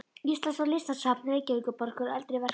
Íslands og Listasafns Reykjavíkurborgar á eldri verkum.